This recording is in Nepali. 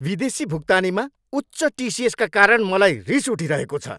विदेशी भुक्तानीमा उच्च टिसिएसका कारण मलाई रिस उठिरहेको छ।